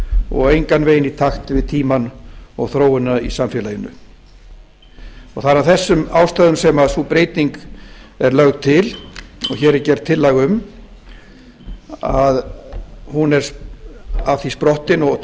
og engan veginn í takt við tímann og þróunina í samfélaginu það er af þessum ástæðum sem sú breyting er lögð til og hér er gerð tillaga um hún er af því sprottin og